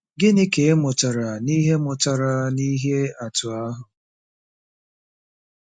Gịnị ka ị mụtara n’ihe mụtara n’ihe atụ a?